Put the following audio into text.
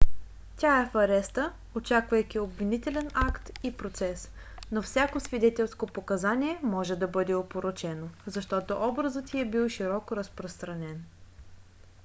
тя е в ареста очаквайки обвинителен акт и процес но всяко свидетелско показание може да бъде опорочено защото образът й е бил широко разпространен